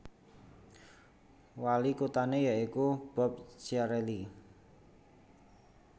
Wali kuthané ya iku Bob Chiarelli